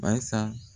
Barisa